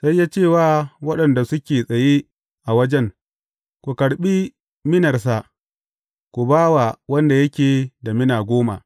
Sai ya ce wa waɗanda suke tsaye a wajen, Ku karɓi minarsa ku ba wa wanda yake da mina goma.’